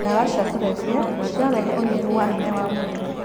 Ndawa cirarehe ũnyihu wa hinya wa mwĩrĩ.